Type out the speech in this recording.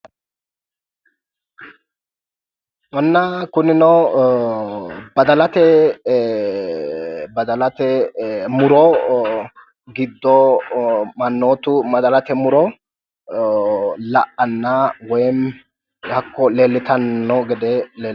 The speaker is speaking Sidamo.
Inna kunino badalate badalate muro giddo mannootu badalate muro la'anna woyi hakko leellitanni noo gede leellishshanno.